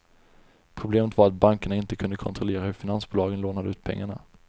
Problemet var att bankerna inte kunde kontrollera hur finansbolagen lånade ut pengarna.